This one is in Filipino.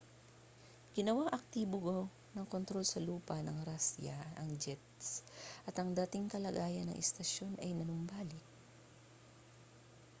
ginawang aktibo ng kontrol sa lupa sa rusya ang jets at ang dating kalagayan ng istasyon ay nanumbalik